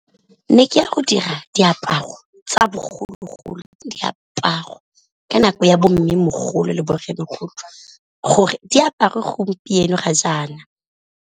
Ne ke ya go dira diaparo tsa bogologolo, diaparo ka nako ya bo mmemogolo le bo rremogolo gore diaparwe gompieno ga jaana.